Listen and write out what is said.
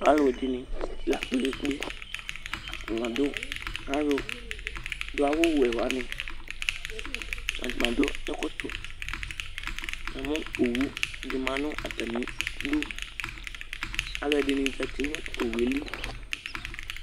alo ɛdini la kpe kpe kpe atani adu alo do awu wɛ wani atani adu ɛkɔtɔ na mo owu di ma no atami du alo ɛdini zati no owu yɛ li